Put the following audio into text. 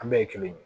An bɛɛ ye kelen ye